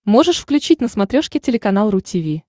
можешь включить на смотрешке телеканал ру ти ви